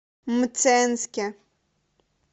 мценске